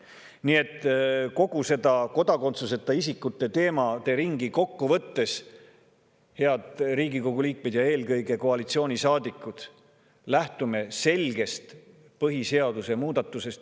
Nii et kogu seda kodakondsuseta isikute teemade ringi kokku võttes, head Riigikogu liikmed ja eelkõige koalitsioonisaadikud, lähtume selgest põhiseaduse muudatusest!